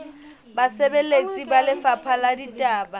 basebeletsi ba lefapha la ditaba